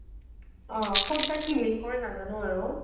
অ' ক'ত বা কি link কৰে নাজানো আৰু